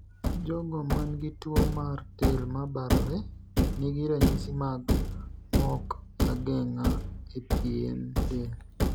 Jogo man gi duol mar del ma barore nigi ranyisi mag mok ageng'a e pien del.